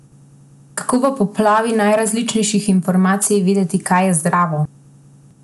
Kako v poplavi najrazličnejših informacij vedeti kaj je zdravo?